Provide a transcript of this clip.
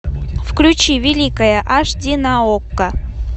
включи великая аш ди на окко